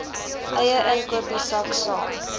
eie inkopiesak saam